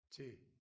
Til